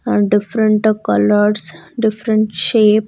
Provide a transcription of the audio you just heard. And different colors different shape --